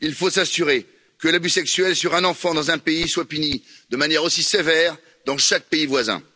Il faut s'assurer qu'un abus sexuel sur un enfant dans un pays soit puni de manière aussi sévère dans chaque pays voisin.